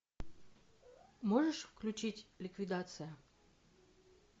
можешь включить ликвидация